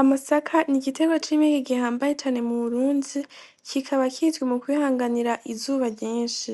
Amasaka n'igitegwa c'impeke gihambaye mu Burundi, kikaba kizwi mu kwihanganira izuba ryinshi,